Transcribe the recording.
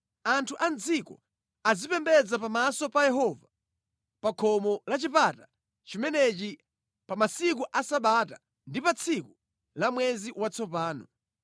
Anthu a mʼdziko azipembedza pamaso pa Yehova pa khomo la chipata chimenechi pa masiku a sabata ndi pa tsiku la mwezi watsopano.